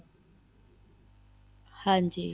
ਹਾਂਜੀ